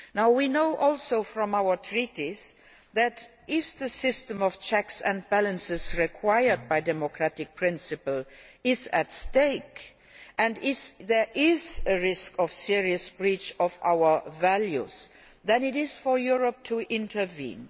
We also know from our Treaties that, if the system of checks and balances required by democratic principle is at stake and there is a risk of serious breach of our values, then it is for Europe to intervene.